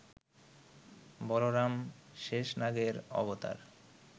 বলরাম শেষনাগের অবতার